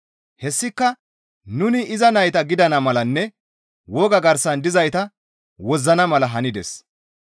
Hessika nuni iza nayta gidana malanne woga garsan dizayta wozzana mala hanides.